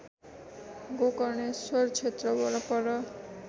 गोकर्णेश्वर क्षेत्र वरपर